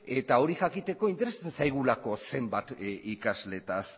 eta hori jakiteko interesatzen zaigulako zenbat ikasleetaz